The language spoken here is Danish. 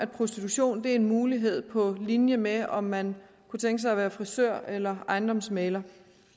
prostitution er en mulighed på linje med om man kunne tænke sig at være frisør eller ejendomsmægler